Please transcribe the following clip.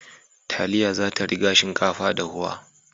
Taliya zata riga shinkafa dahuwa